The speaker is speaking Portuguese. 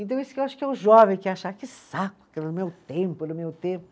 Então, isso que eu acho que é o jovem que acha, que saco, que no meu tempo, no meu tempo.